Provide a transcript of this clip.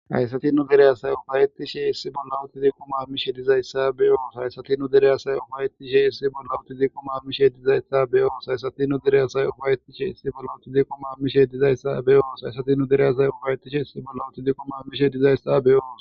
haysati nu dereyaasay ufayettishe issi bolla uti diiqomammishe dizayssa beyoos hayssati nu derey asay ufayettishe issi bolla uti ziqom ammishe dizaysta beyoos hayssatinu derey asay ufayettishe issi bolla uti ziqomammishe dizayssa beyoos haysati nu dereyasay ufayetishe issi bolla uti diqomammishe dizaysta beyoos